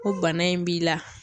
Ko bana in b'i la.